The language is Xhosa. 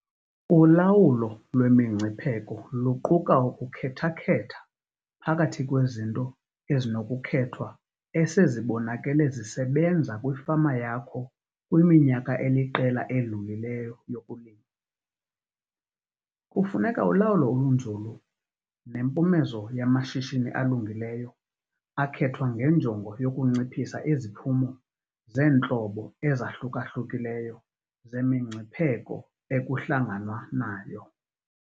Ulawulo lwemingcipheko luquka ukukhetha-khetha phakathi kwezinto ezinokukhethwa esezibonakele zisebenza kwifama yakho kwiminyaka eliqela edlulileyo yokulima. Kufuneka ulawulo olunzulu nempumezo yamashishini alungileyo akhethwa ngenjongo yokunciphisa iziphumo zeentlobo ezahluka-hlukileyo zemingcipheko ekuhlanganwa nayo.